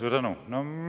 Suur tänu!